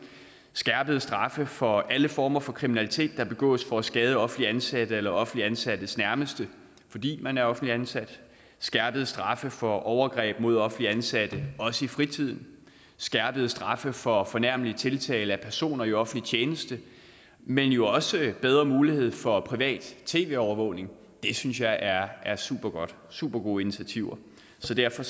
skærpede straffe for alle former for kriminalitet der begås for at skade offentligt ansatte eller offentligt ansattes nærmeste fordi man er offentligt ansat det skærpede straffe for overgreb mod offentligt ansatte også i fritiden skærpede straffe for fornærmelig tiltale af personer i offentlig tjeneste men jo også bedre mulighed for privat tv overvågning det synes jeg er er supergode supergode initiativer så derfor